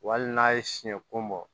Wa hali n'a ye siɲɛkun bɔ